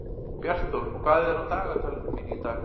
Bjartþór, hvað er á dagatalinu mínu í dag?